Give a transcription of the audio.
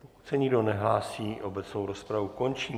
Pokud se nikdo nehlásí, obecnou rozpravu končím.